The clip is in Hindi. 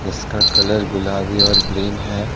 इसका कलर गुलाबी और ग्रीन है।